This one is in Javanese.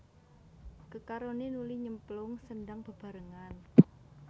Kekaroné nuli nyemplung sendhang bebarengan